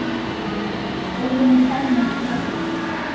Óvenju fámennt næturlíf